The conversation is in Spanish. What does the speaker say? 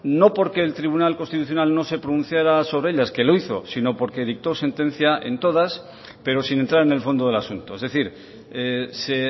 no porque el tribunal constitucional no se pronunciará sobre ellas que lo hizo sino porque dicto sentencia en todas pero sin entrar en el fondo del asunto es decir se